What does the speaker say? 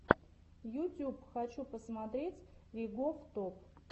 ютюб хочу посмотреть ригоф топ